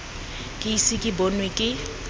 ke ise ke bonwe ke